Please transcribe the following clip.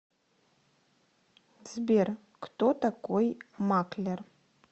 сбер кто такой маклер